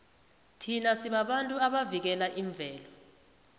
thina sibabantu abavikela imvelo